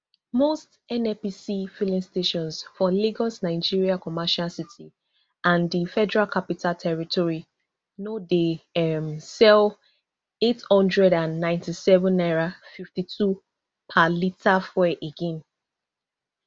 most nnpc filing stations for lagos nigeria commercial city and di federal capital territory no dey um sell eight hundred and ninety-seven naira fifty-two per litre fuel again